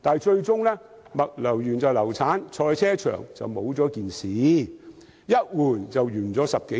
然而，物流園最終流產，興建賽車場也不了了之，一轉眼已過了10多年。